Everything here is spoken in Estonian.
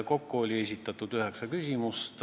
Kokku oli esitatud üheksa küsimust.